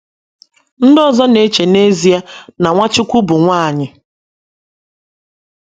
* Ndị ọzọ na - eche na n’ezie na Nwachukwu bụ nwanyị.